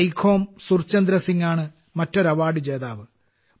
സൈഖോം സുർചന്ദ്ര സിംഗ് ആണ് മറ്റൊരു അവാർഡ് ജേതാവ്